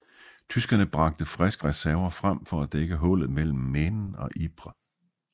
Tyskerne bragte friske reserver frem for at dække hullet mellem Menen og Ypres